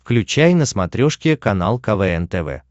включай на смотрешке канал квн тв